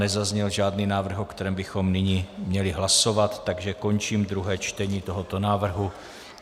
Nezazněl žádný návrh, o kterém bychom nyní měli hlasovat, takže končím druhé čtení tohoto návrhu.